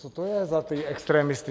Co to je za ty extremisty?